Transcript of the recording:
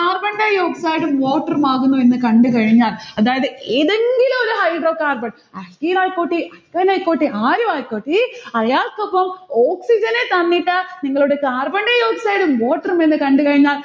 carbondioxide ഉം water ഉമാകുന്നു എന്ന് കണ്ടുകഴിഞ്ഞാൽ അതായത് ഏതേങ്കിലൊരു hydrocarbon alkene ആയിക്കോട്ടെ alkyne ആയിക്കോട്ടെ ആരുമായ്ക്കോട്ടെ അയാൾക്കൊപ്പം oxygen നെ തന്നിട്ട് നിങ്ങളോട് carbondioxide ഉം water ഉം കണ്ടുകഴിഞ്ഞാൽ